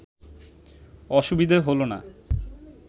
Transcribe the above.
অসুবিধে হল না